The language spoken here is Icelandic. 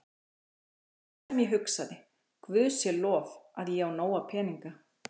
Fyrsta sem ég hugsaði, Guði sé lof, að ég á nóga peninga.